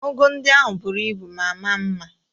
Ụgụ ndị ahụ bụrụ ibu ma maa mma